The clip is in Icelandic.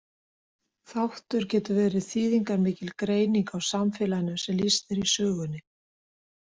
Þáttur getur verið þýðingarmikil greining á samfélaginu sem lýst er í sögunni.